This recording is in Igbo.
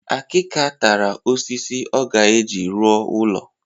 Akika tara osisi ọ ga-eji ruọ ulo